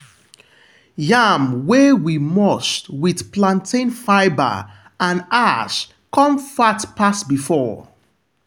yam wey we mulch with plantain fibre and ash come fat pass before.